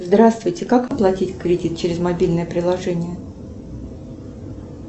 здравствуйте как оплатить кредит через мобильное приложение